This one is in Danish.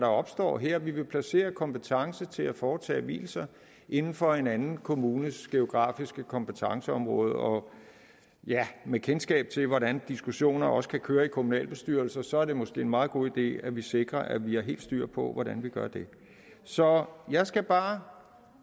opstår her vi vil placere kompetencen til at foretage vielser inden for en anden kommunes geografiske kompetenceområde og ja med kendskab til hvordan diskussioner også kan køre i kommunalbestyrelser er det måske en meget god idé at vi sikrer at vi har helt styr på hvordan vi gør det så jeg skal bare